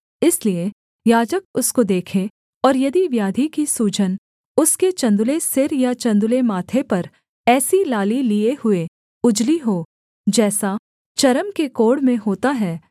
इसलिए याजक उसको देखे और यदि व्याधि की सूजन उसके चन्दुले सिर या चन्दुले माथे पर ऐसी लाली लिये हुए उजली हो जैसा चर्म के कोढ़ में होता है